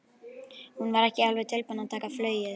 Hún var ekki alveg tilbúin að taka flugið.